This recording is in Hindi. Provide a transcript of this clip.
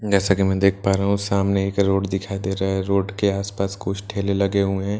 जैसा कि मैं देख पा रहा हूं सामने एक रोड दिखाई पड़ रहा है रोड के आस पास कुछ ठेले लगे हुए है।